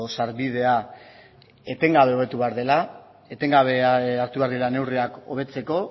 sarbidea etengabe lortu behar dela etengabe hartu behar dira neurriak hobetzeko